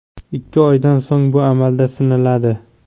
Ikki oydan so‘ng bu amalda sinaladi.